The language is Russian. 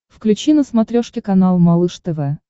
включи на смотрешке канал малыш тв